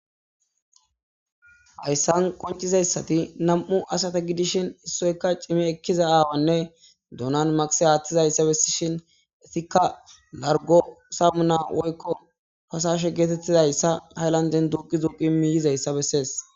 hayssan qoncizayssati nam7u asata gidishin issoyka cimi ekkiza aawanne duunan magse haaththizayssa bessishin etikka largo samuna woykko fasashe geetettizayssa hayllanden duuqi zuqi miyizayssa bessees